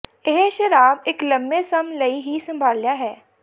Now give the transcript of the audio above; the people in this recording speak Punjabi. ਇਹ ਸ਼ਰਾਬ ਇੱਕ ਲੰਮੇ ਸਮ ਲਈ ਹੀ ਸੰਭਾਲਿਆ ਹੈ